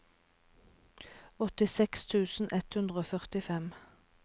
åttiseks tusen ett hundre og førtifem